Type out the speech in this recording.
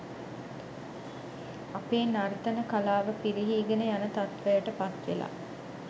අපේ නර්තන කලාව පිරිහීගෙන යන තත්ත්වයට පත්වෙලා.